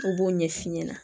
N b'o ɲɛ f'i ɲɛna